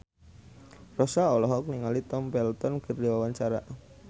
Rossa olohok ningali Tom Felton keur diwawancara